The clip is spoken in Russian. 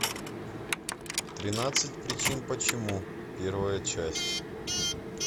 тринадцать причин почему первая часть